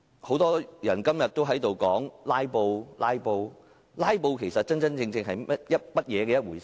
很多議員提到"拉布"，其實，真正的"拉布"是怎樣一回事？